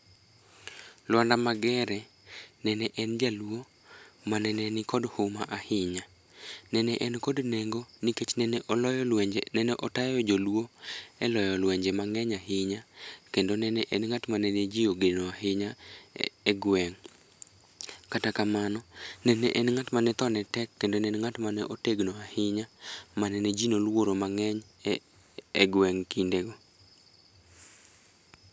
Lwanda Magere nene en jaluo mane nikod huma ahinya .Nene en kod nengo nikech noloyo lwenje, neotayo joluo e loyo lwenje mangeny ahinya kendo ne en ng'at. mane jii ogeno mangeny ahinya e gweng. Kata kamano ne en ng'at mane thone tek kendo ne en ng'at ma otegno ahinya mane ne jii noluoro mangeny e gweng kindego